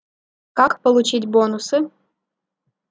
как получить бонусы